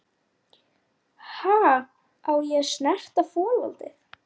Sá strax hvernig landið lá.